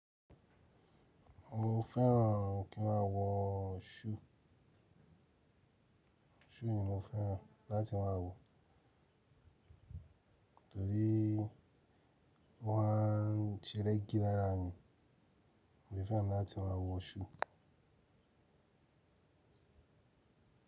Mo fẹ́ràn kí n máa wọ ṣúù. Ki ni mo fẹ́ràn láti máa wọ, torí ó wa ń ṣẹ rẹgí lára mi. Mo fẹ́ràn láti máa wọ ṣúù.